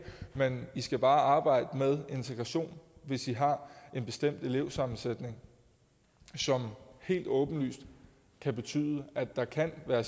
men i skal bare arbejde med integration hvis i har en bestemt elevsammensætning som helt åbenlyst kan betyde at der kan være